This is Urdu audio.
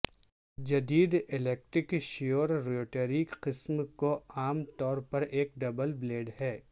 جدید الیکٹرک شیور روٹری قسم کو عام طور پر ایک ڈبل بلیڈ ہے